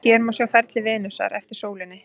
Hér má sjá feril Venusar eftir sólinni.